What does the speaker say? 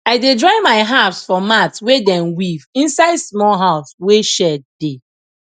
i dey dry my herbs for mat wey dem weave inside small house wey shade dey